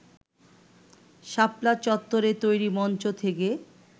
শাপলা চত্বরে তৈরি মঞ্চ থেকে